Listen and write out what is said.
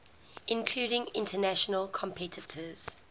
including international competitors